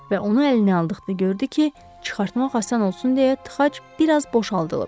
Və onu əlinə aldıqda gördü ki, çıxartmaq asan olsun deyə tıxac bir az boşaldılıb.